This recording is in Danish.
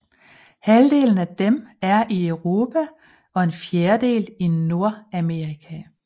Halvdelen af dem er i Europa og en fjerdedel i Nordamerika